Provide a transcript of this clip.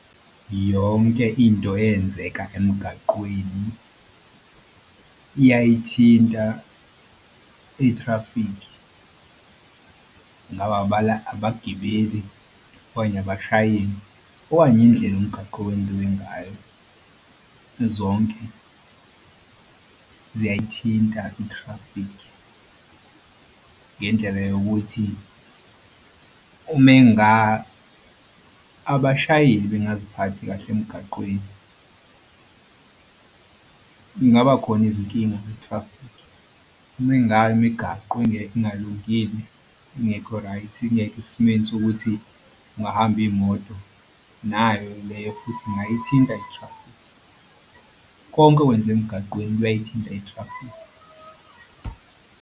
Yonke into yenzeka emgaqweni iyayithinta ithrafikhi ngawabala abagibeli okanye abashayeli okanye indlela umgaqo owenziwe ngayo. Zonke ziyayithinta ithrafikhi ngendlela yokuthi uma abashayeli bengaziphathi kahle emgaqweni kungaba khona izinkinga kwithrafikhi uma ngabe imigaqo ingalungile ingekho right ingekho esimeni sokuthi kungahamba iy'moto. Nayo leyo futhi ingayithinta ithrafikhi konke okwenzeka emgaqeni kuyayithinta ithrafikhi.